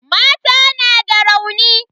Mata na da rauni.